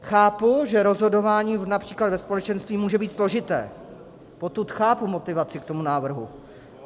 Chápu, že rozhodování například ve společenství může být složité, potud chápu motivaci k tomu návrhu.